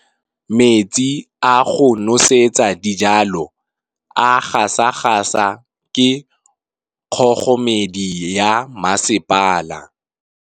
Metsi a go nosetsa dijalo a gasa gasa ke kgogomedi ya masepala.